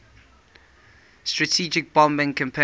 strategic bombing campaign